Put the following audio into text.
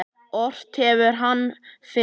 Ort hefur hann fyrr.